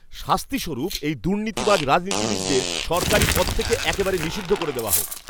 শাস্তিস্বরূপ এই দুর্নীতিবাজ রাজনীতিবিদদের সরকারি পদ থেকে একেবারে নিষিদ্ধ করে দেওয়া হোক।